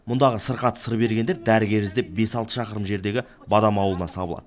мұндағы сырқаты сыр бергендер дәрігер іздеп бес алты шақырым жердегі бадам ауылына сабылады